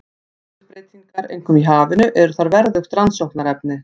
Umhverfisbreytingar, einkum í hafinu, eru þar verðugt rannsóknarefni.